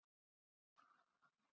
Kollur svaraði um hæl og sagði